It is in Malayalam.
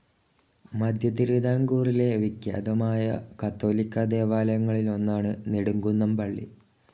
മധ്യതിരുവിതാംകൂറിലെ വിഖ്യാതമായ കത്തോലിക്കാ ദേവാലങ്ങളിലൊന്നാണ്‌ നെടുംകുന്നം പള്ളി.